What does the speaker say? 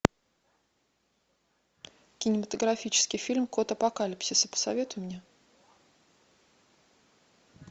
кинематографический фильм код апокалипсиса посоветуй мне